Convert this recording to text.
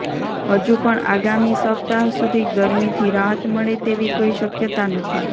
હજુ પણ આગામી સપ્તાહ સુધી ગરમીથી રાહત મળે તેવી કોઈ શક્યતા નથી